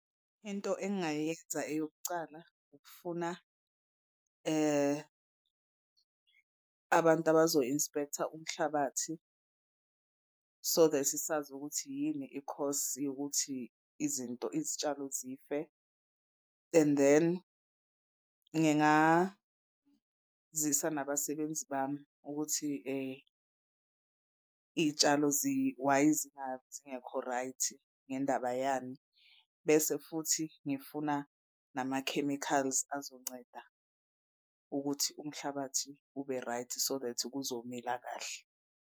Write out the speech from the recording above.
Into engingayenza eyokucala ukufuna abantu abazo-inspector umhlabathi so that sazi ukuthi yini i-cause yokuthi izinto izitshalo zife. And then ngingazisa nabasebenzi bami ukuthi iy'tshalo why zingekho right ngendaba yani. Bese futhi ngifuna nama-chemicals azonceda ukuthi umhlabathi ube right so that kuzomila kahle.